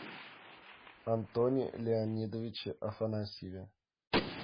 антоне леонидовиче афанасьеве